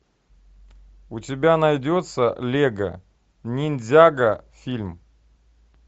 у тебя найдется лего ниндзяго фильм